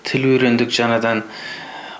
тіл үйрендік жаңадан